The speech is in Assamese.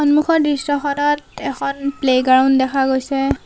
সন্মুখৰ দৃশ্যখনত এখন প্লে গ্ৰাউণ্ড দেখা গৈছে।